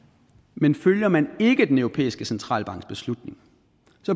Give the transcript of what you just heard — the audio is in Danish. men følger man ikke den europæiske centralbanks beslutning